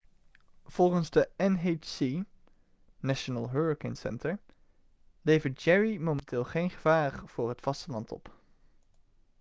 volgens de nhc national hurricane center levert jerry momenteel geen gevaar voor het vasteland op